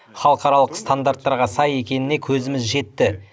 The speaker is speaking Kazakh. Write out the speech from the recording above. халықаралық стандарттарға сай екеніне көзіміз жетті